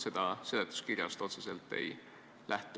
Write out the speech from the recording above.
Seda seletuskirjast otseselt välja ei loe.